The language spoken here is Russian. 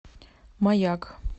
маяк